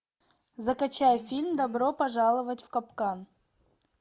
закачай фильм добро пожаловать в капкан